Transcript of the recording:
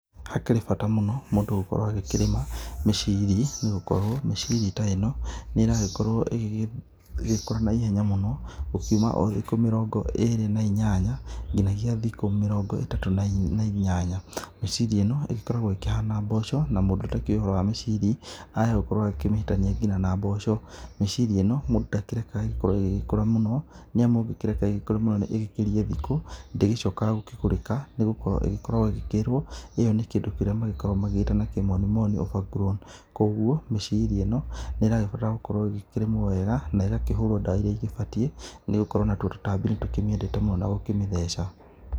Hakĩrĩ bata mũno mũndũ gũkorwo agĩkĩrĩma mĩciri nĩ gũkorwo mĩciri ta ĩno nĩ ĩrakorwo ĩgĩgĩkũra na ihenya mũno gũkiũma o thikũ mĩrongó ĩrĩ na inyanya o nginyagia thikũ mĩrongo ĩtatũ na inyanya. Mĩciri ĩno ĩgĩkoragwo ĩkĩhana mboco na mũndũ cũtakĩũĩ wa mĩcri ahota gũkorwo akĩmĩhĩtania nginya na mboco. Mĩciri ĩno mũndũ ndakĩrekaga ĩkorwo ĩgĩgĩkũra mũno nĩ amu ũngĩreka ĩgĩgĩkũre mũno ĩgĩgĩkĩrie thikũ ndĩgĩcokaga gũkĩgũrĩka nĩ gũkorwo ĩkoragwo ĩgĩkĩrwo ĩyo nĩ kĩndũ kĩrĩa magĩkoragwo magĩgĩta na kĩmoni moni over grown Koguo mĩciri ĩno nĩ ĩrabatara gũkorwo ĩkĩrĩmwo wega na ĩgakĩhũrwo ndawa iria igĩbatiĩ nĩ gũkorwo natuo tũtambi nĩ tũkĩmĩendete mũno na gũkĩmĩtheca.